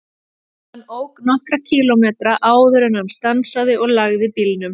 Hann ók nokkra kílómetra áður en hann stansaði og lagði bílnum.